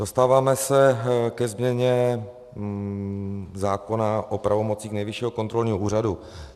Dostáváme se ke změně zákona o pravomocích Nejvyššího kontrolního úřadu.